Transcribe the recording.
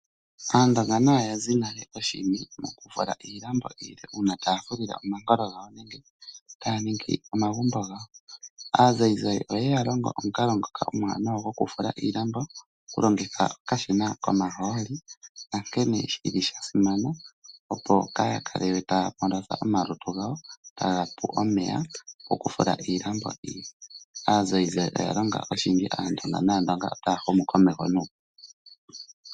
Aandonga oya simaneka uushina mokufula iilambo iile uuna taya fulile omankolo gawo nenge taya ningi omagumbo gawo. Aazayizayi oyeya longo omukalo ngoka omuwanawa gwokufula iilambo taya longitha okashina komahooli nankene shi li sha simana opo kaaya kale taya monitha omalutu gawo iihuna, taga pu omeya kokufula iilambo iile. Aazayizayi oya longa aantu oshindji nAandonga otaya humu komeho nuupu.